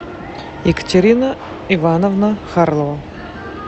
екатерина ивановна харлова